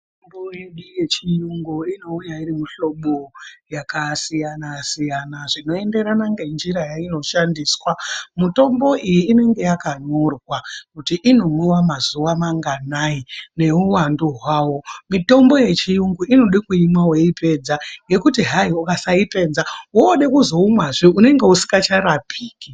Mitombo yedu yechirungu inouya iri muhlobo yakasiyana siyana zvinoenderana ngenjira yainoshandiswa mitombo iyi inenge yakanyorwa kuti inomwiwa mazuva manganai newuwandu wavo mitombo yechiyungu inode kuyimwa weipedza nekuti hai ukasai pedza woode kuzoumwa zvee unenge usingacharapiki.